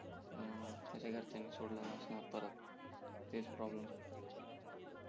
हम्म त्याच्या घरच्यांनी सोडला नसणार परत तेच प्रॉब्लेम